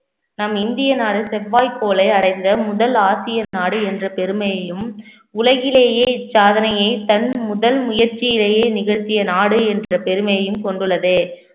நம் இந்திய நாடு செவ்வாய்க்கோளை அடைந்த முதல் ஆசிய நாடு என்ற பெருமையையும் உலகிலேயே இச்சாதனையை தன் முதல் முயற்சியிலேயே நிகழ்த்திய நாடு என்ற பெருமையையும் கொண்டுள்ளது